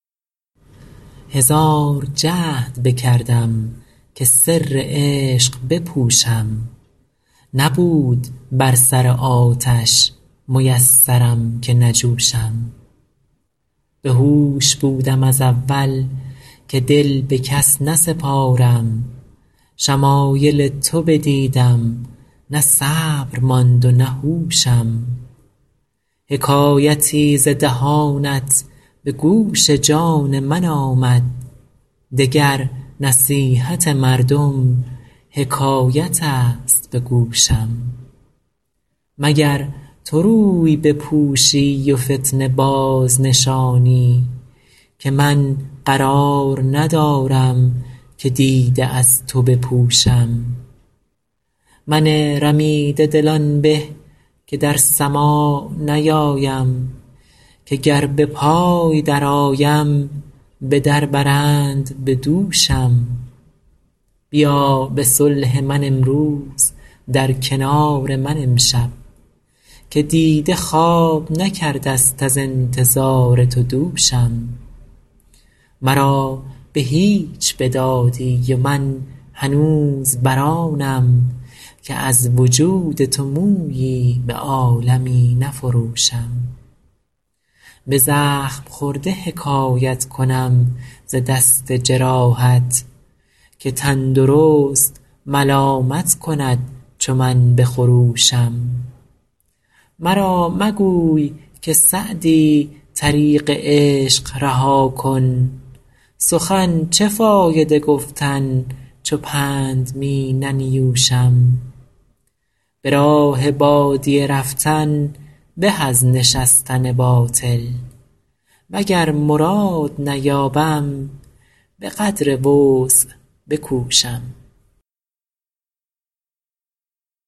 هزار جهد بکردم که سر عشق بپوشم نبود بر سر آتش میسرم که نجوشم بهوش بودم از اول که دل به کس نسپارم شمایل تو بدیدم نه صبر ماند و نه هوشم حکایتی ز دهانت به گوش جان من آمد دگر نصیحت مردم حکایت است به گوشم مگر تو روی بپوشی و فتنه بازنشانی که من قرار ندارم که دیده از تو بپوشم من رمیده دل آن به که در سماع نیایم که گر به پای درآیم به در برند به دوشم بیا به صلح من امروز در کنار من امشب که دیده خواب نکرده ست از انتظار تو دوشم مرا به هیچ بدادی و من هنوز بر آنم که از وجود تو مویی به عالمی نفروشم به زخم خورده حکایت کنم ز دست جراحت که تندرست ملامت کند چو من بخروشم مرا مگوی که سعدی طریق عشق رها کن سخن چه فایده گفتن چو پند می ننیوشم به راه بادیه رفتن به از نشستن باطل وگر مراد نیابم به قدر وسع بکوشم